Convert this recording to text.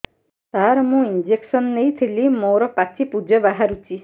ସାର ମୁଁ ଇଂଜେକସନ ନେଇଥିଲି ମୋରୋ ପାଚି ପୂଜ ବାହାରୁଚି